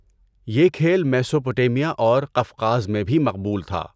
یہ کھیل میسوپوٹیمیا اور قفقاز میں بھی مقبول تھا۔